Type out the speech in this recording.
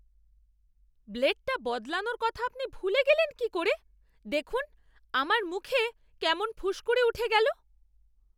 ব্লেডটা বদলানোর কথা আপনি ভুলে গেলেন কী করে? দেখুন, আমার মুখে কেমন ফুসকুড়ি উঠে গেল!